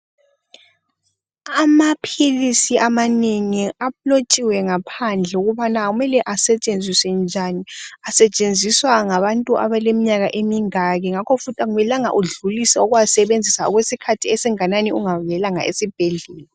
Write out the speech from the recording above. Amaphilisi amanengi alotshiwe ngaphandle ukuthi kumele asetshenziswe njani. Asetshenziswa ngabantu abaleminyaka emingaki, ngakho futhi kakumelanga udlulise ukuwasebenzisa, okwesikhathi esinganani, ungabuyelanga esibhedlela.